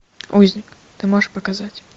узник ты можешь показать